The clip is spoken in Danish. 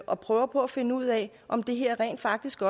og prøver på at finde ud af om det her rent faktisk